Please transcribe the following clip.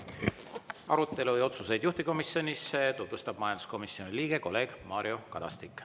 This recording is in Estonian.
Arutelu ja otsuseid juhtivkomisjonis tutvustab majanduskomisjoni liige kolleeg Mario Kadastik.